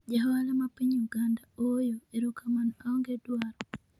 ja ohala ma piny Uganda 'ooyo' erokamano aonge dwaro',